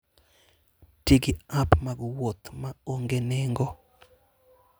Ti gi app mag wuoth ma onge nengo.